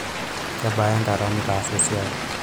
kebaa enkata nitaasa esiai